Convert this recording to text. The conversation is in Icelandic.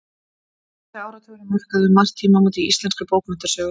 Sjöundi áratugurinn markaði um margt tímamót í íslenskri bókmenntasögu.